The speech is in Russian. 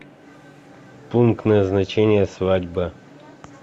пункт назначения свадьба